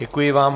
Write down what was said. Děkuji vám.